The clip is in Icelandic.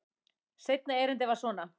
Seinna erindið var svona: